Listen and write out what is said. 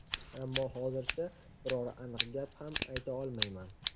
Ammo hozircha biror aniq gap ham ayta olmayman.